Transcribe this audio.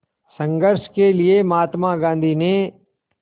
संघर्ष के लिए महात्मा गांधी ने